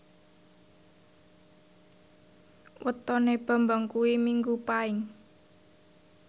wetone Bambang kuwi Minggu Paing